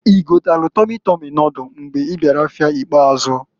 I gotalụ Tọmi tọmi nodul mbọsị ị bịara afịa ikpazụ.